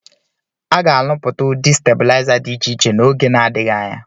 Aga Alụpụta Udị Stabụlịza Dị Ịche Ịche Na - Oge Na Adighi Anya.